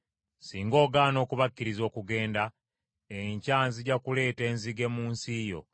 Singa ogaana okubakkiriza okugenda, enkya nzija kuleeta enzige mu nsi yo.